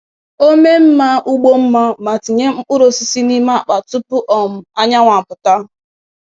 O mee mma ugbo mma ma tinye mkpụrụ osisi n’ime akpa tupu um anyanwụ apụta.